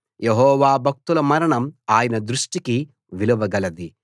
యెహోవా భక్తుల మరణం ఆయన దృష్టికి విలువ గలది